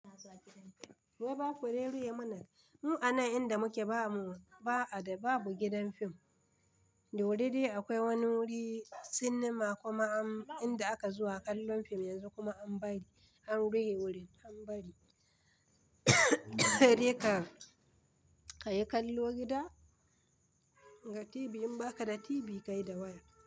Wai ba ku dai ruhe muna, mu anan inda muke ba mu, ba a da babu gidan fim. Dauri dai akwai wani wuri cinema kuma an inda aka zuwa kallon fim yanzu kuma an bari an rufe wurin an bari. Saidai ka ka yi kallo gida? Ga TV in ba ka da TV ka yi da waya.